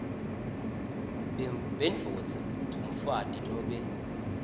bendvodza umfati nobe